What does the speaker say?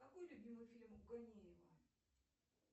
какой любимый фильм у ганеева